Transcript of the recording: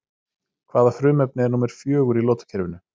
Hvaða frumefni er númer fjögur í lotukerfinu?